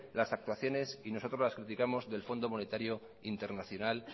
las actuaciones y nosotros las criticamos del fondo monetario internacional